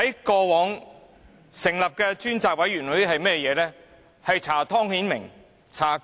過往成立的專責委員會做了些甚麼？